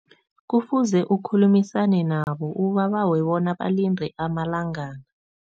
Kufuze ukhulumisane nabo, ubabawe bona balinde amalangana.